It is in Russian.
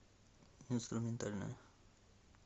инструментальная